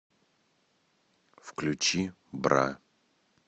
включи бра